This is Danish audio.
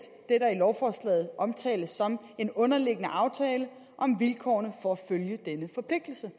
hvad der i lovforslaget omtales som en underliggende aftale om vilkårene for at følge denne forpligtelse